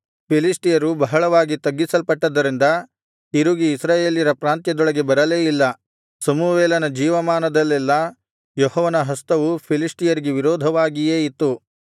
ಫಿಲಿಷ್ಟಿಯರು ಬಹಳವಾಗಿ ತಗ್ಗಿಸಲ್ಪಟ್ಟದರಿಂದ ತಿರುಗಿ ಇಸ್ರಾಯೇಲ್ಯರ ಪ್ರಾಂತ್ಯದೊಳಗೆ ಬರಲೇ ಇಲ್ಲ ಸಮುವೇಲನ ಜೀವಮಾನದಲ್ಲೆಲ್ಲಾ ಯೆಹೋವನ ಹಸ್ತವು ಫಿಲಿಷ್ಟಿಯರಿಗೆ ವಿರೋಧವಾಗಿಯೇ ಇತ್ತು